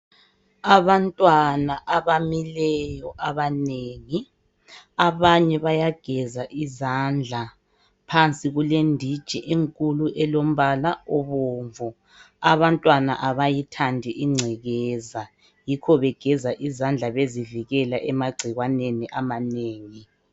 Abantwana abamileyo abanengi, abanye bayageza izandla phansi kulenditshi enkulu elombala obomvu. Abantwana abayithandi ingcekeza yikho begeza izandla bezivikela emagcikwaneni amanengi.